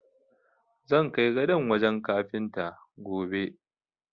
Zan kai gadon wajen kafinta, gobe.